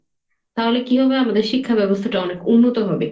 তাহলে কি হবে আমাদের শিক্ষা ব্যবস্থাটা অনেক উন্নত হবে।